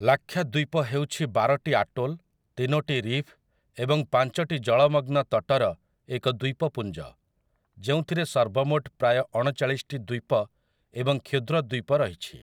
ଲାକ୍ଷାଦ୍ୱୀପ ହେଉଛି ବାରଟି ଆଟୋଲ୍, ତିନୋଟି ରିଫ୍ ଏବଂ ପାଞ୍ଚଟି ଜଳମଗ୍ନ ତଟର ଏକ ଦ୍ୱୀପପୁଞ୍ଜ, ଯେଉଁଥିରେ ସର୍ବମୋଟ ପ୍ରାୟ ଅଣଚାଳିଶଟି ଦ୍ୱୀପ ଏବଂ କ୍ଷୁଦ୍ର ଦ୍ୱୀପ ରହିଛି ।